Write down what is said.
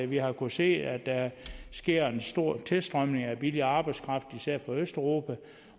vi har kunnet se at der sker en stor tilstrømning af billig arbejdskraft især fra østeuropa